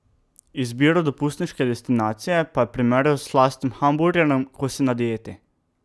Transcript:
Izbiro dopustniške destinacije pa je primerjal s slastnim hamburgerjem, ko si na dieti.